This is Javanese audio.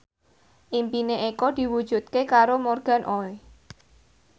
impine Eko diwujudke karo Morgan Oey